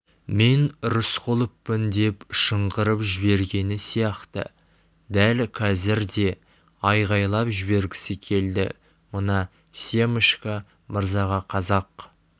мен рысқұловпын деп шыңғырып жібергені сияқты дәл қазір де айқайлап жібергісі келді мына семашко мырзаға қазақ